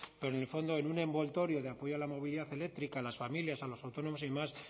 pero en el fondo en un envoltorio de apoyo a la movilidad eléctrica a las familias a los autónomos y demás